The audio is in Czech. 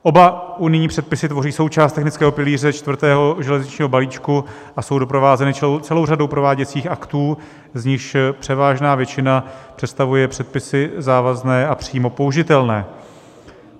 Oba unijní předpisy tvoří součást technického pilíře čtvrtého železničního balíčku a jsou doprovázeny celou řadou prováděcích aktů, z nichž převážná většina představuje předpisy závazné a přímo použitelné.